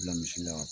Bila misi la